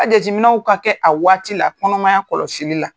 A jateminɛw ka kɛ a waati la, kɔnɔmaya kɔlɔsili la.